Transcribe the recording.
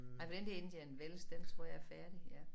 Han var den der Indian Wells den tror jeg er færdig ja